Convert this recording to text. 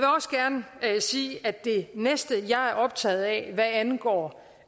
jeg vil sige at det næste jeg er optaget af hvad angår